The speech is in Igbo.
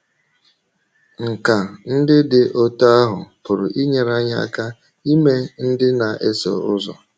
Nkà ndị dị otú ahụ pụrụ inyere anyị aka ime ndị na - eso ụzọ.